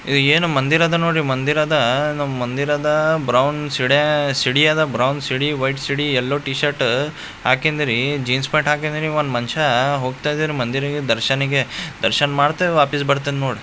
ಇದು ಏನು ಮಂದಿರಾದ ನೋಡಿ ಮಂದಿರಾದಾ ನಮ್ ಮಂದಿರಾದಾ ಬ್ರೌನ್ ಶಿಡೇ ಶೀಡಿ ಆದ ಬ್ರೌನ್ ಶೀಡಿ ವೈಟ್ ಶೀಡಿ ಯೆಲ್ಲೋ ಟೀ ಶರ್ಟ್ ಹಾಕೆಂದಿರೀ ಜೀನ್ಸ್ ಪ್ಯಾಂಟ್ ಹಾಕೆಂದಿರಿ ಒಂದ್ ಮಂಶಾ ಹೋಗ್ತಾ ಇದರ್ ಮಂದಿರಿಗೆ ದರ್ಶನೆಗೆ. ದರ್ಶನ್ ಮಾಡ್ತೆವ್ ವಾಪಸ್ ಬರ್ತೆನ್ ನೋಡ್.